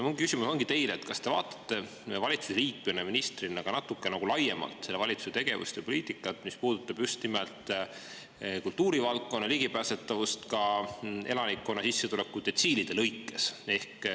Minu küsimus teile ongi see, kas te vaatate valitsuse liikmena, ministrina ka natuke laiemalt selle valitsuse tegevust ja poliitikat, mis puudutab just nimelt kultuurivaldkonna ligipääsetavust ka elanikkonna sissetulekudetsiilide lõikes.